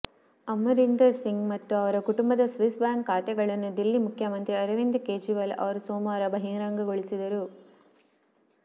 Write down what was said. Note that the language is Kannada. ಅಮರಿಂದರ್ ಸಿಂಗ್ ಮತ್ತು ಅವರ ಕುಟುಂಬದ ಸ್ವಿಸ್ ಬ್ಯಾಂಕ್ ಖಾತೆಗಳನ್ನು ದಿಲ್ಲಿ ಮುಖ್ಯಮಂತ್ರಿ ಅರವಿಂದ ಕೇಜ್ರಿವಾಲ್ ಅವರು ಸೋಮವಾರ ಬಹಿರಂಗಗೊಳಿಸಿದರು